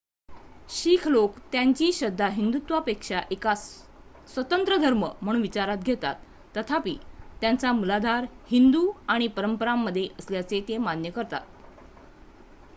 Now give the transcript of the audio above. शीख लोक त्यांची श्रद्धा हिंदुत्वापेक्षा एक स्वतंत्र धर्म म्हणून विचारात घेतात तथापि त्याचा मूलाधार हिंदू आणि परंपरांमध्ये असल्याचे ते मान्य करतात